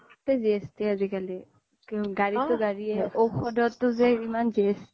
চ্'বতে GST আজিকালি গাৰি তো গাৰিয়ে ঔশদতো ইমান GST